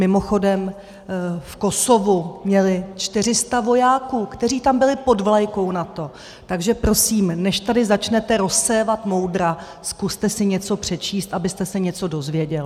Mimochodem, v Kosovu měli 400 vojáků, kteří tam byli pod vlajkou NATO, takže prosím, než tady začnete rozsévat moudra, zkuste si něco přečíst, abyste se něco dozvěděl.